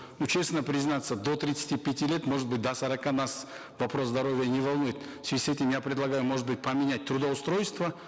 ну честно признаться до тридцати пяти лет может быть до сорока нас вопрос здоровья не волнует в связи с этим я предлагаю может быть поменять трудоустройство